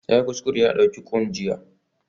Yayi kuskure ya ɗauki Quinn jiya